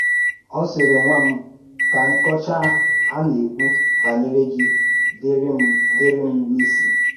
Ọ sịrị: ‘Nwá m, kà nkọ́chá a na-èkwú bànyèrè gị dìrị̀ m dìrị̀ m n’ísí